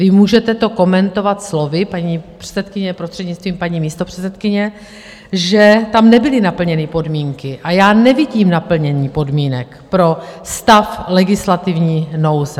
Vy to můžete komentovat slovy, paní předsedkyně, prostřednictvím paní místopředsedkyně, že tam nebyly naplněny podmínky, a já nevidím naplnění podmínek pro stav legislativní nouze.